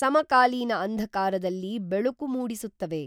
ಸಮಕಾಲೀನ ಅಂಧಕಾರದಲ್ಲಿ ಬೆಳಕು ಮೂಡಿಸುತ್ತವೆ